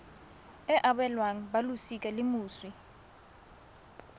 e abelwang balosika la moswi